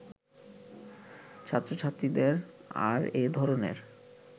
ছাত্রছাত্রীদের আর এ ধরনের